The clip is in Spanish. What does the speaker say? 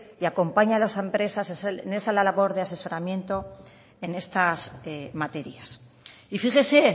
y acompañe a las empresas en esa labor de asesoramiento en estas materias y fíjese